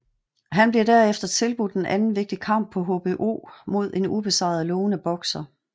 Han bliver derefter tilbudt en anden vigtig kamp på HBO mod en ubesejret lovende bokser